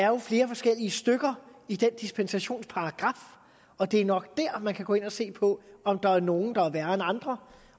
jo er flere forskellige stykker i den dispensationsparagraf og det er nok der man kan gå ind at se på om der er nogle der er værre end andre